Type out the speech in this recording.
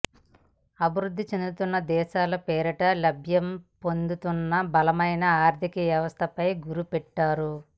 అభివృద్ధి చెందుతున్న దేశాల పేరిట లబ్ధిపొందుతున్న బలమైన ఆర్థిక వ్యవస్థలపై గురి పెట్టారు